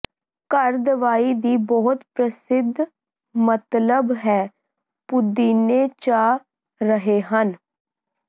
ਘਰ ਦਵਾਈ ਦੀ ਬਹੁਤ ਪ੍ਰਸਿੱਧ ਮਤਲਬ ਹੈ ਪੁਦੀਨੇ ਚਾਹ ਰਹੇ ਹਨ